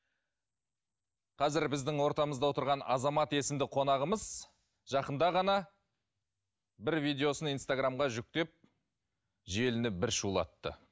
қазір біздің ортамызда отырған азамат есімді қонағымыз жақында ғана бір видеосын инстаграмға жүктеп желіні бір шулатты